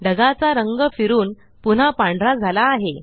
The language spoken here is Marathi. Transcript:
ढगाचा रंग फिरून पुन्हा पांढरा झाला आहे